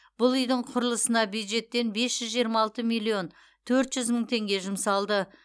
бұл үйдің құрылысына бюджеттен бес жүз жиырма алты миллион төрт жүз мың теңге жұмсалды